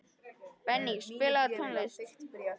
Benný, spilaðu tónlist.